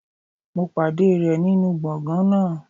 Mo pàdé rẹ̀ nínú gbọ̀ngàn náà.